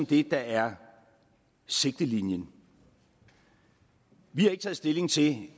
det der er sigtelinjen vi har ikke taget stilling til